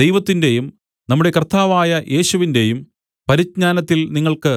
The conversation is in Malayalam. ദൈവത്തിന്റെയും നമ്മുടെ കർത്താവായ യേശുവിന്റെയും പരിജ്ഞാനത്തിൽ നിങ്ങൾക്ക്